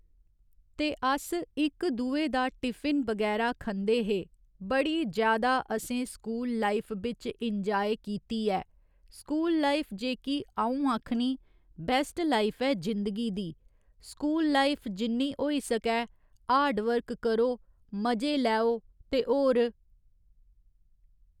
ते अस इक दूए दा टिफिन बगैरा खंदे हे बड़ी ज्यादा असें स्कूल लाईफ बिच इंजाय कीती ऐ स्कूल लाईफ जेह्की अ'ऊं आक्खनी बेस्ट लाईफ ऐ जिंदगी दी स्कूल लाईफ जिन्नी होई सकै हार्ड वर्क करो मजे लैओ ते होर